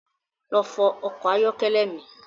Lọ fọ ọkọ̀ ayọ́kẹ́lẹ́ mi